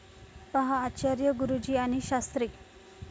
पहा आचार्य गुरुजी आणि शास्त्री